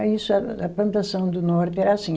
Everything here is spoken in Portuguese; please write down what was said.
Aí só, a plantação do norte era assim.